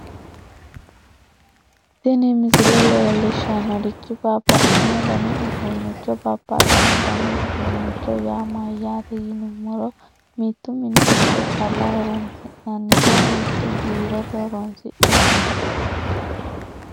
tini misile leellishshannorichi babbaxxino dani uduunnicho babbaxxino dani uduunnicho yaa mayyaate yinummoro mitu mini giddo calla horoonsi'nanniho mitu biirote horoonsi'nanniho